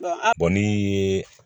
a kɔni ye